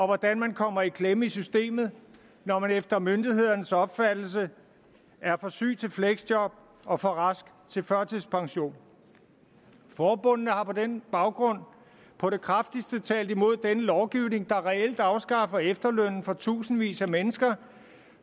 hvordan man kommer i klemme i systemet når man efter myndighedernes opfattelse er for syg til fleksjob og for rask til førtidspension forbundene har på den baggrund på det kraftigste talt imod denne lovgivning der reelt afskaffer efterlønnen for tusindvis af mennesker